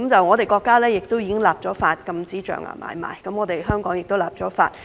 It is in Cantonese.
我們的國家已經立法禁止象牙買賣，香港亦已立法。